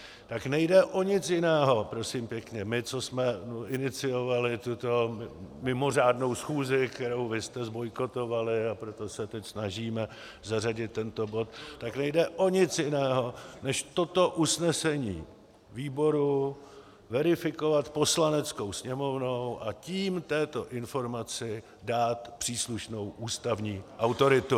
Tak nejde o nic jiného, prosím pěkně, my, co jsme iniciovali tuto mimořádnou schůzi, kterou vy jste zbojkotovali, a proto se teď snažíme zařadit tento bod, tak nejde o nic jiného, než toto usnesení výboru verifikovat Poslaneckou sněmovnou, a tím této informaci dát příslušnou ústavní autoritu.